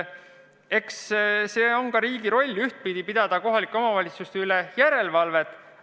Riigi roll on ka teha kohalike omavalitsuste üle järelevalvet.